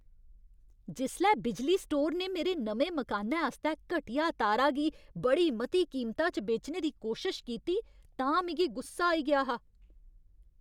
जिसलै बिजली स्टोर ने मेरे नमें मकानै आस्तै घटिया तारा गी बड़ी मती कीमता च बेचने दी कोशश कीती तां मिगी गुस्सा आई गेआ हा।